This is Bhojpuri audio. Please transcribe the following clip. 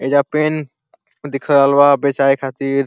एइजा पेन दिख रहल बा बेचाए खातिर --